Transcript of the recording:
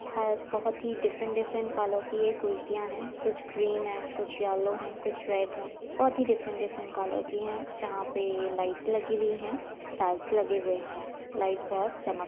हर बहोत ही different different colour की ये कुर्तीया हैं। कुछ ग्रीन है कुछ येलो है कुछ रेड है। बहोत ही डिफ़ेरेन्ट डिफ़ेरेन्ट कलर की हैं जहाँ पे लाइट लगी हुई हैं टाइल्स लगे हुए हैं। लाइट बहोत चमक --